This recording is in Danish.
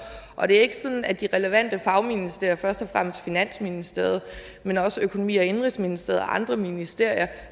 og det er ikke sådan at de relevante fagministerier først og fremmest finansministeriet men også økonomi og indenrigsministeriet og andre ministerier